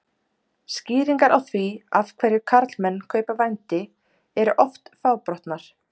Skýringar á því af hverju karlmenn kaupa vændi eru oft fábrotnar.